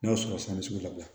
N'a y'a sɔrɔ san bɛ se ka bila